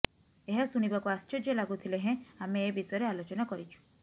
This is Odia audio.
ଏହା ଶୁଣିବାକୁ ଆଶ୍ଚର୍ଯ୍ୟ ଲାଗୁ ଥିଲେ ହେଁ ଆମେ ଏ ବିଷୟରେ ଆଲୋଚନା କରିଛୁ